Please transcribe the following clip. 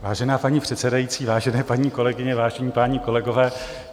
Vážená paní předsedající, vážené paní kolegyně, vážení páni kolegové.